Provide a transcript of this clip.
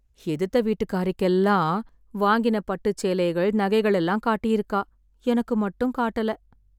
எதுத்த வீட்டுக்காரிக்கெல்லாம், வாங்கின பட்டுச் சேலைகள், நகைகள் எல்லாம் காட்டியிருக்கா... எனக்கு மட்டும் காட்டல...